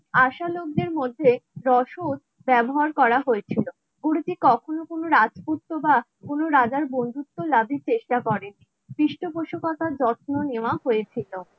আশা লোকদের মধ্যে রসদ ব্যবহার করা হয়েছিল কখনো কোনো রাজপুত্র বা কোনো রাজার বন্ধুত্ব লাভের চেষ্টা করে নি পৃষ্ঠপোষকতার যত্ন নেওয়া হয়েছিল